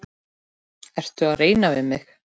Ertu að reyna við mig?